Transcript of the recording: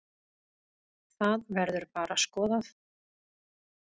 Það verður bara skoðað.